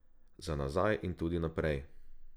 Za nazaj in tudi naprej.